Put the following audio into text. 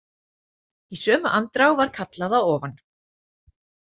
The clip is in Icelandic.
Og í sömu andrá var kallað að ofan.